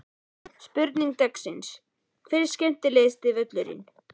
Spurning dagsins er: Hver er skemmtilegasti völlurinn?